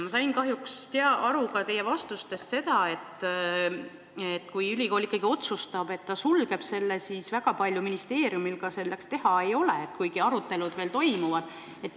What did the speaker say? Ma sain kahjuks teie vastustest aru ka nii, et kui ülikool ikkagi otsustab, et ta sulgeb selle õppekava, siis väga palju ministeeriumil teha ei olegi, kuigi arutelud veel toimuvad.